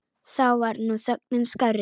Þá var nú þögnin skárri.